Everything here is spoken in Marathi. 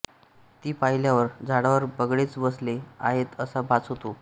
ती पाहिल्यावर झाडावर बगळेच बसले आहेत असा भास होतो